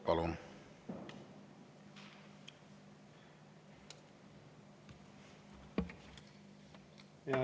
Palun!